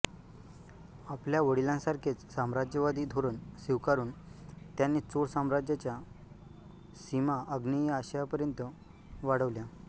आपल्या वडिलांसारखेच साम्राज्यवादी धोरण स्वीकारुन त्याने चोळ साम्राज्याच्या सीमा आग्नेय आशियापर्यंत वाढवल्या